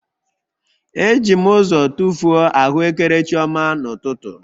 Eji m ụzọ tụfuo ahụekere chioma n'ụtụtụ